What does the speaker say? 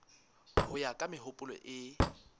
ho ya ka mehopolo e